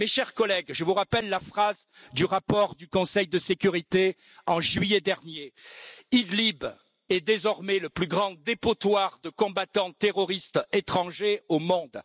Mais mes chers collègues, je vous rappelle la phrase du rapport du Conseil de sécurité, en juillet dernier Idlib est désormais le plus grand dépotoir de combattants terroristes étrangers au monde.